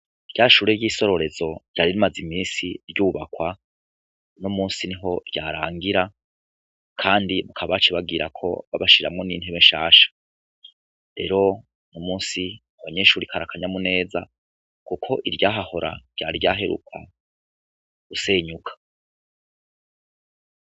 Rya shure ryisororezo ryari rimaze iminsi ryubakwa uno munsi niho vyarangira kandi bakaba baciye bagirako babashiriramwo n'intebe nshasha rero uyu munsi abanyeshure kari kanyamuneza kuko iryahahora ryari ryaheruka gusenyuka.